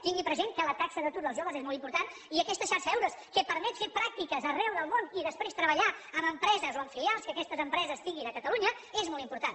tingui present que la taxa d’atur dels joves és molt important i aquesta xarxa eures que permet fer pràctiques arreu del món i després treballar en empreses o en filials que aquestes empreses tinguin a catalunya és molt important